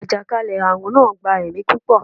àjàkálẹ̀-arun naa gba ẹmi pupọ